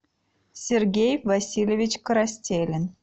сергей васильевич коростелин